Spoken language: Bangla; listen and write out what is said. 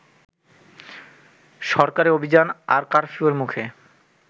সরকারি অভিযান আর কারফিউয়ের মুখে